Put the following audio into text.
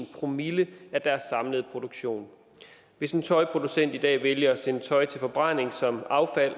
promille af deres samlede produktion hvis en tøjproducent i dag vælger at sende tøj til forbrænding som affald